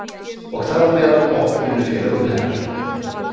Og þar á meðal okkur vinnufélögum hennar.